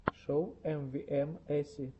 шоу эмвиэмэси